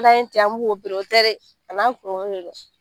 N'an y'o ten an b'o o tɛ dɛ, a n'a kungolo de don